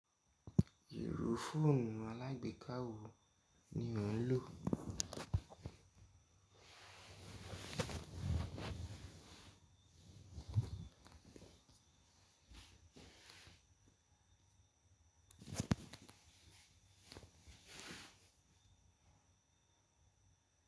Irú fóònù alágbèká wo ni ó ń lò?